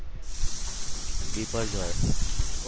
Biparjoy